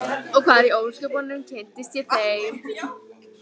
Og hvar í ósköpunum kynntist ég þeim?